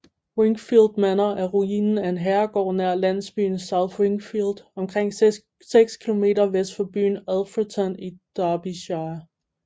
Wingfield Manor er ruinen af en herregård nær landsbyen South Wingfield omkring 6 km vest for byen Alfreton i Derbyshire